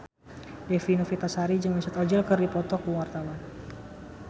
Dewi Novitasari jeung Mesut Ozil keur dipoto ku wartawan